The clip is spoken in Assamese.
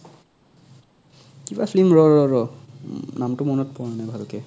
কিবা film ৰ ৰ ৰ নাম্টো মনত পৰা নাই ভালকে